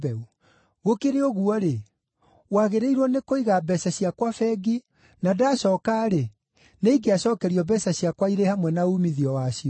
Gũkĩrĩ ũguo-rĩ, wagĩrĩirwo nĩ kũiga mbeeca ciakwa bengi, na ndacooka-rĩ, nĩingĩacookerio mbeeca ciakwa irĩ hamwe na uumithio wacio.